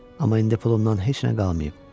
Amma indi pulumdan heç nə qalmayıb.